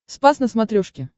спас на смотрешке